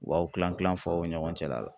O b'aw kilan kilan ɲɔgɔn cɛla la.